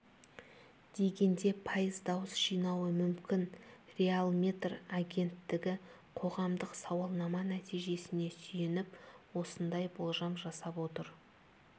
дегенде пайыз дауыс жинауы мүмкін реалметр агенттігі қоғамдық сауалнама нәтижесіне сүйеніп осындай болжам жасап отыр